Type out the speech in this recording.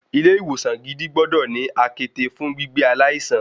Ilé ìwòsan gidi gbọ́dọ̀ ní àkéte fún gbígbé aláìsàn.